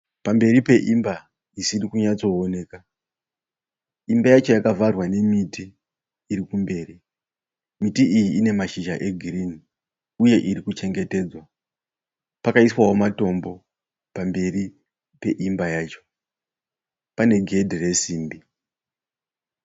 Pamberi peimba isiri kunyatsooneka. Imba yacho yakavharwa nemiti iri kumberi. Miti iyi ine mashizha egirinhi uye irikuchengetedzwa. Pakaiswawo matombo pamberi peimba yacho. Pane gedhe resimbi.